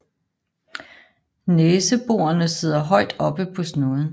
Næseborene sidder højt oppe på snuden